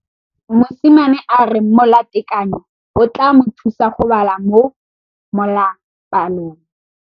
Mosimane a re molatekanyô o tla mo thusa go bala mo molapalong.